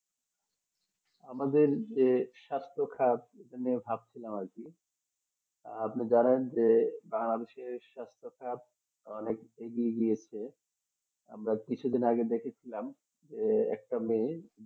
আমাদের যে স্বাস্থ্য খাপ যে ভাবছিলাম আর কি আপনি জানেন বা স্বাস্থ্য খাপ অনেক এগিয়ে দিয়েছে আমাদের আমরা কিছুদিন আগে দেখেছিলাম একটা মেয়ে